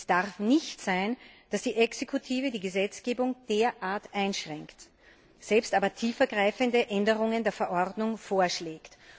Es darf nicht sein, dass die Exekutive die Gesetzgebung derart einschränkt, selbst aber tiefergreifende Änderungen der Verordnung vorschlägt.